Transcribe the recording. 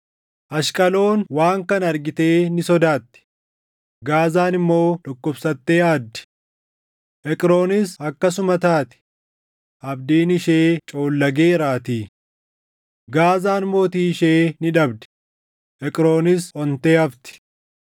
Ashqaloon waan kana argitee ni sodaatti; Gaazaan immoo dhukkubsattee aaddi; Eqroonis akkasuma taati; abdiin ishee coollageeraatii. Gaazaan mootii ishee ni dhabdi; Eqroonis ontee hafti.